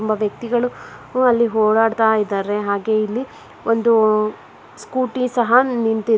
ಒಬ್ಬ ವ್ಯಕ್ತಿಗಳು ಕೂಡ ಅಲ್ಲಿ ಓಡಾಡ್ತಾ ಇದ್ದಾರೆ ಹಾಗೆ ಇಲ್ಲಿ ಒಂದು ಸ್ಕೂಟಿ ಸಹ ನಿಂತಿದೆ.